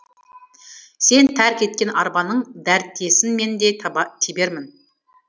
сен тәрк еткен арбаның дәртесін мен де тебермін